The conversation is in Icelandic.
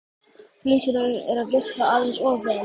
hreinsunin er að virka aðeins of vel.